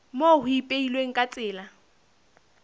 moo ho ipehilweng ka tsela